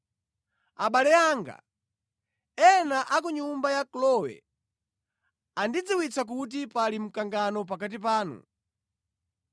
Abale anga, ena a ku nyumba ya Kloe andidziwitsa kuti pali mkangano pakati panu.